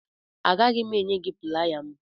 Agaghị m enye gị playa m.